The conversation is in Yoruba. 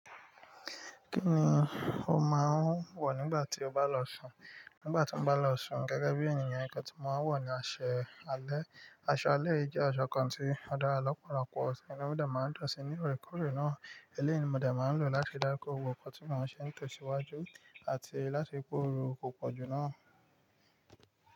Kí ni o máa ń wọ̀ nígbà tí o bá lọ sùn? Nígbà tí mo bá lọ sùn, gẹ́gẹ́ bí ènìyàn, nnkan tí mo máa ń wọ̀ ni aṣọ alẹ́. Aṣọ alẹ́ yi jẹ́ aṣọ kan tí ó dára lọ́pọ̀lọpọ̀, ti inu mi de máa ń dùn síi ní òorèkoorè náà. Eléèyi mo de máa ń lò láti dá kó gbogbo nnkan tí màá ṣe ní tòsíwájú àti láti kóru ò pòjù náà.